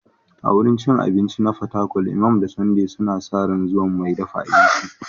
A wurin cin abinci na Fatakwal, Imam da Sunday suna sa ran zuwan mai dafa abincin.